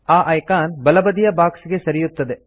ಆ ಐಕಾನ್ ಬಲಬದಿಯ ಬಾಕ್ಸ್ ಗೆ ಸರಿಯುತ್ತದೆ